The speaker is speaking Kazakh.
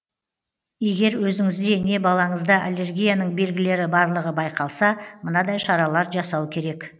егер өзіңізде не балаңызда аллергияның белгілері барлығы байқалса мынадай шаралар жасау керек